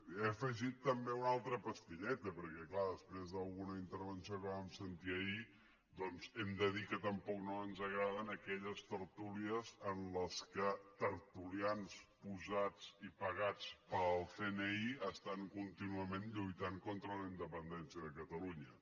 he afegit també una altra pastilleta perquè clar després d’alguna intervenció que vam sentir ahir doncs hem de dir que tampoc no ens agraden aquelles tertúlies en què tertulians posats i pagats pel cni estan contínuament lluitant contra la independència de catalunya